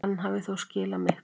Hann hafi þó skilað miklu.